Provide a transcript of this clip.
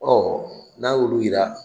n'a y'olu yira